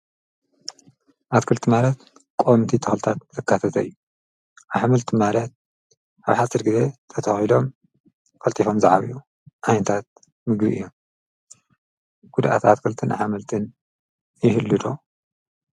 ኣትክልቲ ማለት ቆምቲ ተልታት ርካፈተ እዩ ኣኃመልቲ ማለት ኣብ ሓትድ ጊዜ ተታውሎም ፈልቲፎም ዝዓብዩ ኣይንታት ምጉ እዮ ጉድኣት ኣትክልትን ኣኃመልትን ይህሉዶ